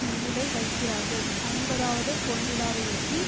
முன்னிலை வகிக்கிறார்கள் ஐம்பதாவது பொன்விழாவையொட்டி